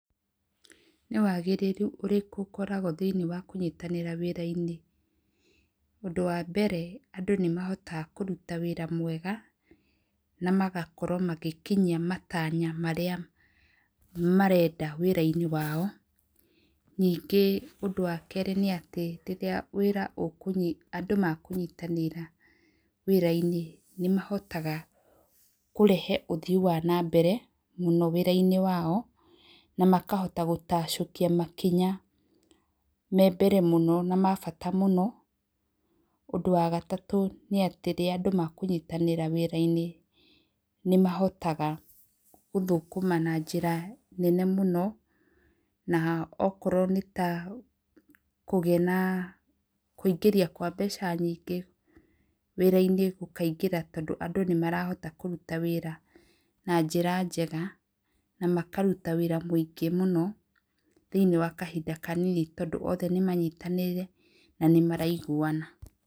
Nĩ wagĩriĩru ũrĩkũ ũkoragwo thĩinĩ wa kũnyitanira wĩra-inĩ? Ũndũ wa mbere, andũ nĩ mahotaga kũruta wĩra mwega na magakorwo magĩkinyia matanya marĩa marenda wĩra-inĩ wao, ningĩ ũndũ wa kerĩ nĩ atĩ, rĩrĩa wĩra, andũ makũũnyinanĩra wĩra-inĩ nĩ mahotaga kũreha ũthii wa na mbere mũno wĩra-inĩ wao, na makahota gũtacokia makinya me mbere mũno na mabata mũno, ũndũ wa gagatũ nĩ atĩ, rĩrĩa andũ makũnyitanĩra wĩra-inĩ nĩ mahotaga gũthũkũma na njĩra nene mũno, na okorwo nĩ ta kũgĩa na kũingĩria kwa mbeca nyingĩ, wĩra-inĩ gũkaingĩra tondũ andũ nĩmarahota kũruta wĩra na njĩra njega na makaruta wĩra mũingĩ mũno thĩiniĩ wa kahinda kanini tondũ othe nĩ manyitanĩire na nĩmaraiguana.